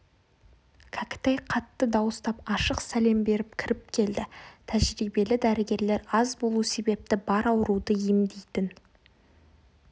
кәкітай қатты дауыстап ашық сәлем беріп кіріп келді тәжірибелі дәрігерлер аз болу себепті бар ауруды емдейтін